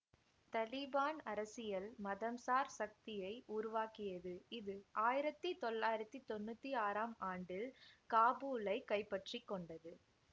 தலீபான் அரசியல் மதம் சார் சக்தியை உருவாக்கியது இது ஆயிரத்தி தொள்ளாயிரத்தி தொன்னூத்தி ஆறாம் ஆண்டில் காபூலை கைப்பற்றிக்கொண்டது